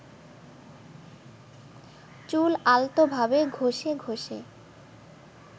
চুল আলতোভাবে ঘষে ঘষে